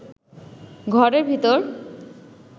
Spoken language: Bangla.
ঘরের ভিতর